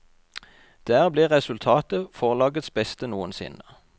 Der ble resultatet forlagets beste noensinne.